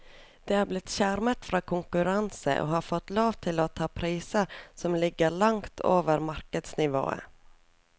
De er blitt skjermet fra konkurranse og har fått lov til å ta priser som ligger langt over markedsnivå.